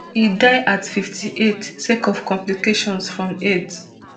e die at fifty-eight sake of complications from aids